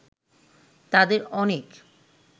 তাদের অনেক